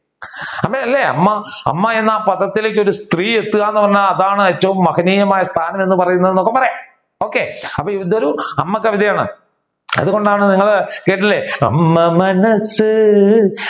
അപ്പൊ അല്ലെ അമ്മ അമ്മ എന്ന പദത്തിലേക്ക് ഒരു സ്ത്രീ എത്തുക എന്ന് പറഞ്ഞാൽ അതാണ് ഏറ്റവും മഹനീയമായ എന്നൊക്കെ പറയാം okay അപ്പൊ ഇത് ഒരു അമ്മ കവിതയാണ് അതുകൊണ്ടാണ് നിങ്ങൾ കേട്ടില്ലേ അമ്മ മനസ്